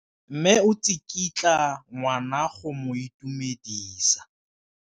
Mme o tsikitla ngwana go mo itumedisa.